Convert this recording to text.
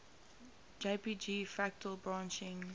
jpg fractal branching